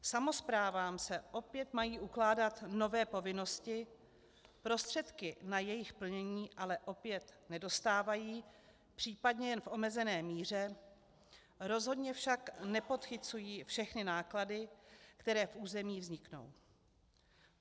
Samosprávám se opět mají ukládat nové povinnosti, prostředky na jejich plnění ale opět nedostávají, případně jen v omezené míře, rozhodně však nepodchycují všechny náklady, které v území vzniknou.